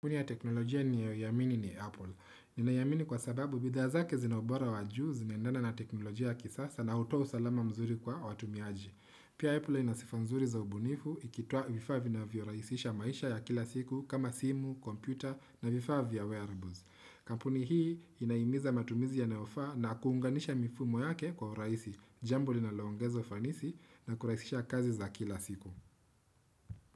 Kampuni ya teknolojia ninayoamini ni Apple. Ninaiamini kwa sababu bidhaa zake zina ubora wa juu zinaendana na teknolojia ya kisasa na hutoa usalama mzuri kwa watumiaji. Pia Apple ina sifa nzuri za ubunifu ikitoa vifaa vinavyorahisisha maisha ya kila siku kama simu, kompyuta na vifaa vya wearables. Kampuni hii inahimiza matumizi yanayofaa na kuunganisha mifumo yake kwa urahisi, jambo linaloongeza fanisi na kurahisisha kazi za kila siku.